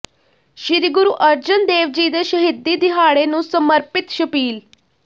ਸ੍ਰੀ ਗੁਰੂ ਅਰਜਨ ਦੇਵ ਜੀ ਦੇ ਸ਼ਹੀਦੀ ਦਿਹਾੜੇ ਨੂੰ ਸਮਰਪਿਤ ਛਬੀਲ